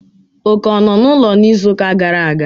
Oké o nnọ n'ụlọ n'izuụka gara aga?